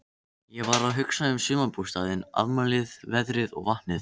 Ég var að hugsa um sumarbústaðinn, afmælið, veðrið og vatnið.